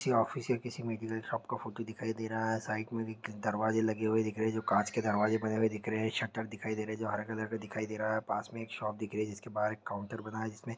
office या किसी medical shop का फोटो दिखाई दे रहा है साइड में भी एक दरवाजे लगे हुए दिख रहे है जो कांच के दरवाजे बने दिख रहे है शटर दिखाई दे रहे जो हरे कलर का दिखाई दे रहा है पास में एक शॉप दिख रही है जिसके पास काउंटर बना है जिसमें--